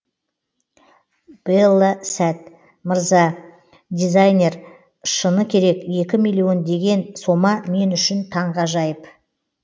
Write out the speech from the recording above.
белла сәт мырза дизайнер шыны керек екі миллион деген сома мен үшін таңғажайып